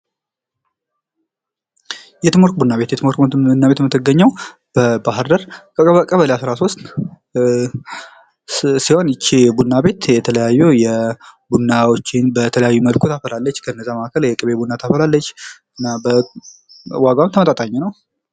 የትምወርቅ ቡና ቤት ። የትምወርቅ ቡና ቤት የምትገኘው በባህር ዳር ቀበሌ አስራ ሶስት ሲሆን ይቺ ቡና ቤት የተለያዩ ቡናዎችን በተለያየ መልኩ ታፈላለች ከነዛ መካከል የቅቤ ቡና ታፈላለች ። ዋጋዋም ተመጣጣኝ ነው ።